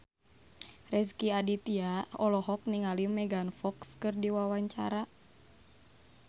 Rezky Aditya olohok ningali Megan Fox keur diwawancara